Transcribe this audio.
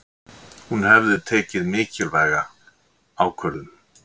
Hún hefði tekið mikilvæga ákvörðun.